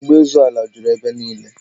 Nsogbu ịzọ ala juru ebe niile